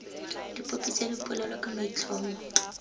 dipopi tsa dipolelo ka maitlhomo